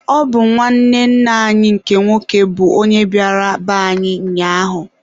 Ọ bụ nwanne nna anyị nke nwoke bụ onye bịara be anyị ụnyaahụ.